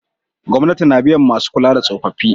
Gwamnati na biyan masu kula da tsofaffi